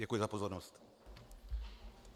Děkuji za pozornost.